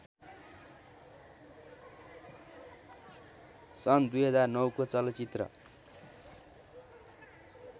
सन् २००९ को चलचित्र